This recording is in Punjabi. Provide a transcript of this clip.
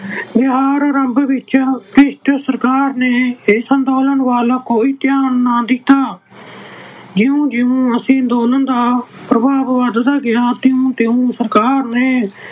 ਵਿਹਾਰ ਰੰਗ ਵਿੱਚ ਭ੍ਰਿਸ਼ਟ ਸਰਕਾਰ ਨੇ ਇਸ ਅੰਦੋਲਨ ਵੱਲ ਕੋਈ ਧਿਆਨ ਨਾ ਦਿੱਤਾ। ਜਿਉਂ ਜਿਉਂ ਇਸ ਅੰਦੋਲਨ ਦਾ ਪ੍ਰਭਾਵ ਵੱਧਦਾ ਗਿਆ, ਤਿਉਂ ਤਿਉਂ ਸਰਕਾਰ ਨੇ